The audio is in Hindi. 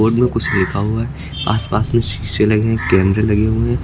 बोर्ड में कुछ लिखा हुआ है आसपास में शीशे लगे हैं कैमरे लगे हुए हैं।